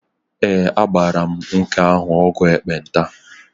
Ee, agbara m nwoke ahụ ọgwụ ekpenta.